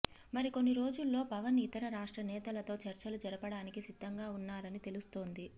మరికొన్ని రోజుల్లో పవన్ ఇతర రాష్ట్ర నేతలతో చర్చలు జరపడానికి సిద్ధంగా ఉన్నారని తెలుస్తోంది